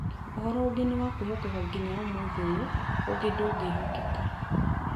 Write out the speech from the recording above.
Ũhoro ũngĩ nĩ wa kwĩhokeka ginya ũmũthĩ ũyũ, ũngĩ ndũngĩhokeka.